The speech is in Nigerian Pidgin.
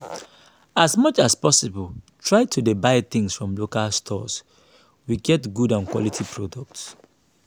as much as possible try to dey buy things from local stores wey get good and quality products